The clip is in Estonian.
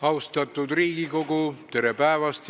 Austatud Riigikogu, tere päevast!